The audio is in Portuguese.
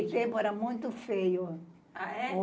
Naquele tempo era muito feio. A é?